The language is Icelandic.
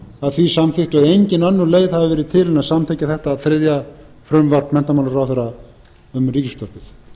að því samþykktu að engin önnur leið hafi verið til en að samþykkja þetta þriðja frumvarp menntamálaráðherra um ríkisútvarpið